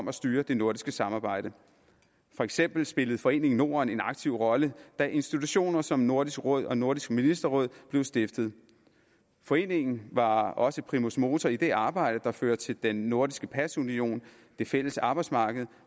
har styret det nordiske samarbejde for eksempel spillede foreningen norden en aktiv rolle da institutioner som nordisk råd og nordisk ministerråd blev stiftet foreningen var også primus motor i det arbejde der førte til den nordiske pasunion det fælles arbejdsmarked